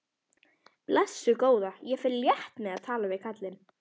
Blessuð góða, ég fer létt með að tala við kallinn.